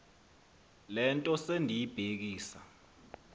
le nto sendiyibhekisa